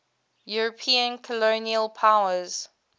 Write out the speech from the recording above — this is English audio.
european colonial powers